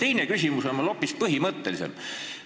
Teine küsimus on aga hoopis põhimõttelisem.